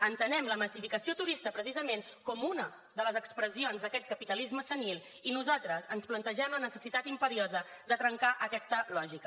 entenem la massificació turística precisament com una de les expressions d’aquest capitalisme senil i nosaltres ens plantegem la necessitat imperiosa de trencar aquesta lògica